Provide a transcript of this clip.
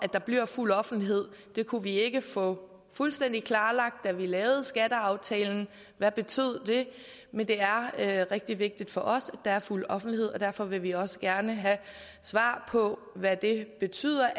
der bliver fuld offentlighed det kunne vi ikke få fuldstændig klarlagt da vi lavede skatteaftalen hvad betød det men det er rigtig vigtigt for os at der er fuld offentlighed og derfor vil vi også gerne have svar på hvad det betyder